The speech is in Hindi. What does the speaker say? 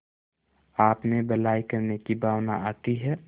आपमें भलाई करने की भावना आती है